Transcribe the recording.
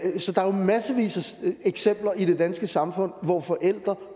eksempler i det danske samfund på forældre